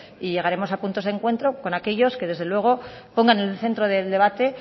y llegaremos a puntos de encuentro con aquellos que desde luego pongan en el centro del debate